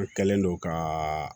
An kɛlen don ka